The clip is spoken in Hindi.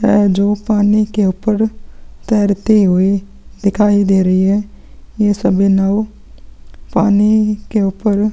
है जो पानी के ऊपर तैरती हुई दिखाई दे रही है ये सभी नाँव पानी के ऊपर--